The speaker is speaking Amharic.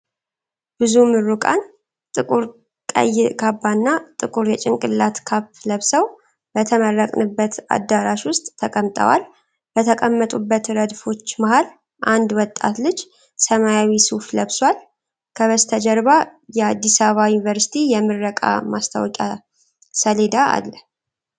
ብዙ ምሩቃን ጥቁር ቀይ ካባና ጥቁር የጭንቅላት ካፕ ለብሰው በተመረቅንበት አዳራሽ ውስጥ ተቀምጠዋል። በተቀመጡበት ረድፎች መሃል አንድ ወጣት ልጅ ሰማያዊ ሱፍ ለብሷል። ከበስተጀርባ የ አዲስ አበባ ዩኒቨርስቲ የምረቃ ማስታወቂያ ሰሌዳ አለ።